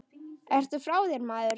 Ertu frá þér, maður?